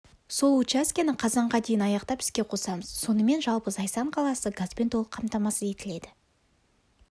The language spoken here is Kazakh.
сол учаскені қазанға дейін аяқтап іске қосамыз сонымен жалпы зайсан қаласы газбен толық қамтамасыз етіледі